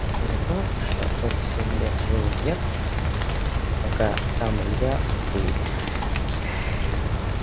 за то что тот семь лет жил вверх пока сам илья вглубь